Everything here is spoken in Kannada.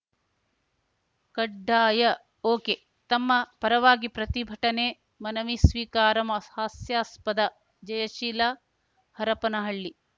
ಕಡ್ಡಾಯ ಒಕೆ ತಮ್ಮ ಪರವಾಗಿ ಪ್ರತಿಭಟನೆ ಮನವಿ ಸ್ವೀಕಾರ ಮ್ ಹಾಸ್ಯಾಸ್ಪದ ಜಯಶೀಲ ಹರಪನಹಳ್ಳಿ